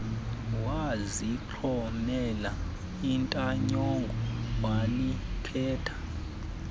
wazixhomela intanyongo walikhetha